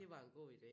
Det var en god idé